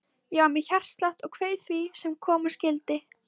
Ég var með hjartslátt og kveið því sem koma skyldi.